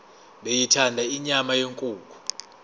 beyithanda inyama yenkukhu